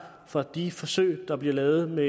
fra de forsøg der bliver lavet med